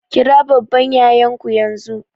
Kira babban yayan ku yanzu!